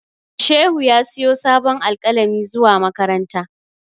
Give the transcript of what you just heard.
Shehu ya siyo sabon alƙalami zuwa makaranta.